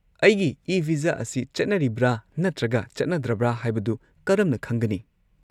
ꯑꯩꯒꯤ ꯏ-ꯚꯤꯖꯥ ꯑꯁꯤ ꯆꯠꯅꯗ꯭ꯔꯕ꯭ꯔꯥ ꯅꯠꯇ꯭ꯔꯒ ꯆꯠꯅꯗꯕ꯭ꯔꯥ ꯍꯥꯏꯕꯗꯨ ꯀꯔꯝꯅ ꯈꯪꯒꯅꯤ?